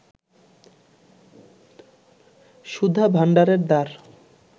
সুধাভাণ্ডারের দ্বার